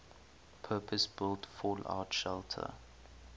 purpose built fallout shelter